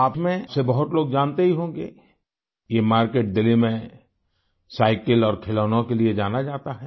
आप में से बहुत लोग जानते ही होंगे ये मार्केट दिल्ली में साइकिल और खिलौनों के लिए जाना जाता है